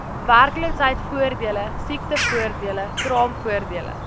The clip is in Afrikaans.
werkloosheidvoordele siektevoordele kraamvoordele